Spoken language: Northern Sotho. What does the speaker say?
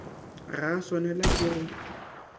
ga a swanelwa ke go